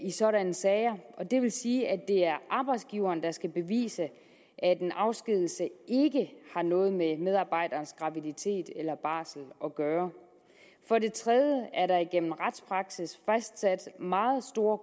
i sådanne sager og det vil sige at det er arbejdsgiveren der skal bevise at en afskedigelse ikke har noget med medarbejderens graviditet eller barsel at gøre for det tredje er der igennem retspraksis fastsat meget store